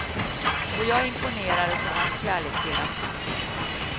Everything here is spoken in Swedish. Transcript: Och jag imponerades av hans kärlek till artisterna.